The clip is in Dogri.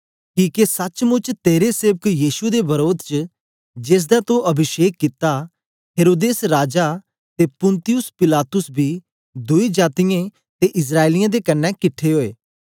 किके सचमुच तेरे सेवक यीशु दे वरोध च जेसदा तो अभिषेक कित्ता हेरोदेस राजा ते पुन्तियुस पिलातुस बी दुई जातीयें ते इस्राएलियें दे कन्ने किट्ठे ओए